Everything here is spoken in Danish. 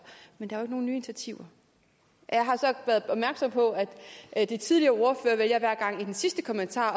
men der er nogen nye initiativer jeg har så været opmærksom på at de tidligere ordførere hver gang i den sidste kommentar